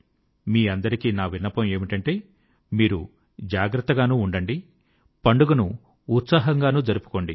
మీకందరికీ నా విన్నపం ఏమిటంటే మీరు జాగ్రత్తగానూ ఉండండి పండుగను ఉత్సాహంగానూ జరుపుకోండి